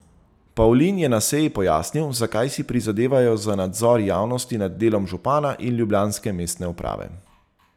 Pavlin je na seji pojasnil, zakaj si prizadevajo za nadzor javnosti nad delom župana in ljubljanske mestne uprave.